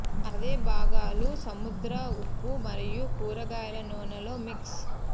అదే భాగాలు సముద్ర ఉప్పు మరియు కూరగాయల నూనె లో మిక్స్